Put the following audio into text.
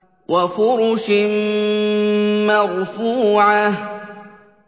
وَفُرُشٍ مَّرْفُوعَةٍ